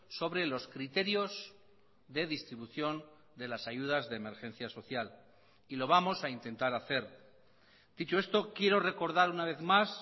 sobre los criterios de distribución de las ayudas de emergencia social y lo vamos a intentar hacer dicho esto quiero recordar una vez más